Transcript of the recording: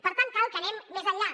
per tant cal que anem més enllà